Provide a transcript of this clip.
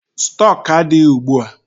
Stọk adịghị ugbua.